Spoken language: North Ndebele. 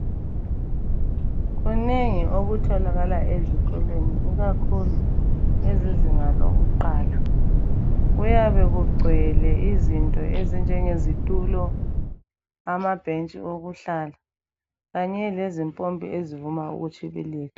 Kunengi okutholakala ezikolweni ikakhulu kwezezinga lokuqala kuyabe kugcwele izinto ezinjenge zitulo, amabhentshi okuhlala kanye lezimpompi ezivuma ukutshibilika.